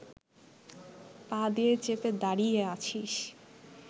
পা দিয়ে চেপে দাঁড়িয়ে আছিস